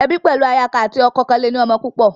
Ebi pẹlu aya kan ati ọkọ kọn le ni ọmọ púpọ.